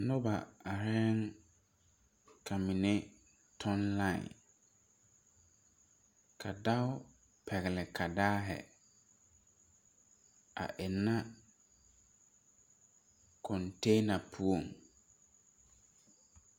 Noba arɛɛŋ ka mine tɔŋ lai ka dao pɛgle kadaahi a ennɛ kontɛna puoŋ.